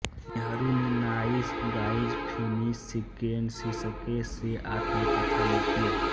नेहरू ने nice guys finish second शीर्षके से आत्मकथा लिखी